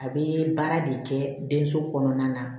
A bɛ baara de kɛ den so kɔnɔna na